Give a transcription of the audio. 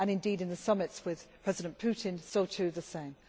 and indeed in the Summits with President Putin, so to the same.